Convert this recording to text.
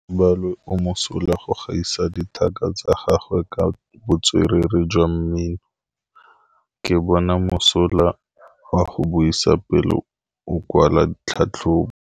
Gaolebalwe o mosola go gaisa dithaka tsa gagwe ka botswerere jwa mmino. Ke bone mosola wa go buisa pele o kwala tlhatlhobô.